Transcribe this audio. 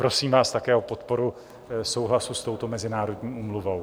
Prosím vás také o podporu souhlasu s touto mezinárodní úmluvou.